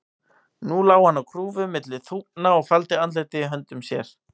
Nú lá hann á grúfu milli þúfna og faldi andlitið í höndum sér.